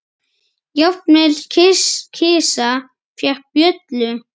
Jafnvel kisa fékk bjöllu.